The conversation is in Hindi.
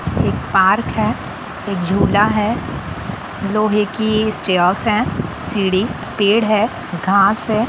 एक पार्क है एक झूला हैलोहे की सीढ़ी पेड़ है घास है।